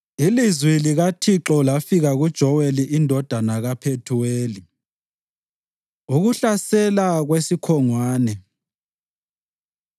Ilizwi likaThixo lafika kuJoweli indodana kaPhethuweli. Ukuhlasela Kwesikhongwane